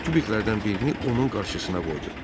Tubiklərdən birini onun qarşısına qoydu.